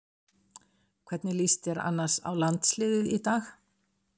Hvernig lýst þér annars á landsliðið í dag?